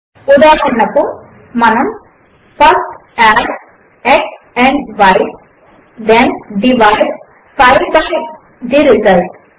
ఉదాహరణకు మనము first add x and y then divide 5 by the result